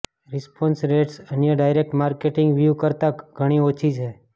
response rates અન્ય direct marketing વ્યૂહ કરતાં ઘણી ઓછી છે